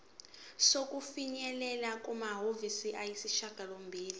sokufinyelela kumaviki ayisishagalombili